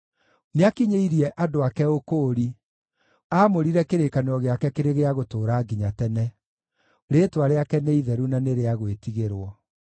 Nĩakinyĩirie andũ ake ũkũũri; aamũrire kĩrĩkanĩro gĩake kĩrĩ gĩa gũtũũra nginya tene: rĩĩtwa rĩake nĩ itheru na nĩ rĩa gwĩtigĩrwo.